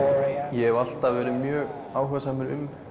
ég hef alltaf verið mjög áhugasamur um